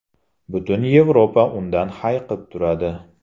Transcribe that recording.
Butun Yevropa undan hayiqib turadi.